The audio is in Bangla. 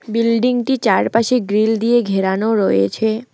বিল্ডিংটি চারপাশে গ্রিল দিয়ে ঘেরানো রয়েছে।